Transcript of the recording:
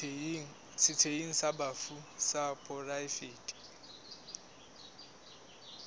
setsheng sa bafu sa poraefete